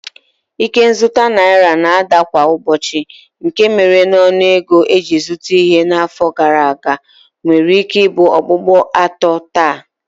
Ike nzụta naira na-ada kwa ụbọchị nke mere na ọnụego e ji zụta ihe n'afọ gara aga nwereike ibu okpukpo atọ taa